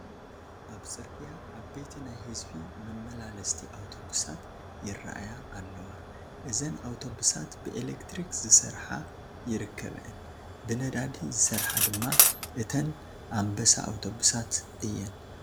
ኣብ ፅርግያ ዓበይቲ ናይ ህዝቢ መመላለስቲ ኣውቶብሳት ይራኣያ ኣለዋ፡፡ እዘን ኣውቶብሳት ብኤሌክትሪክ ዝሰርሓ ይርከበአን፡፡ ብነዳዲ ዝሰርሓ ድማ እተን ኣንበሳ ኣውቶብሳት እየን፡፡